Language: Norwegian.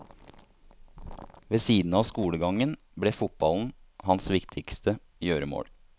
Ved siden av skolegangen ble fotballen hans viktigste gjøremål.